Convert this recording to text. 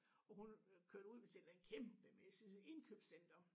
Og hun kørte ud til et eller andet kæmpemæssigt indkøbscenter